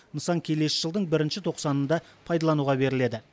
нысан келесі жылдың бірінші тоқсанында пайдалануға беріледі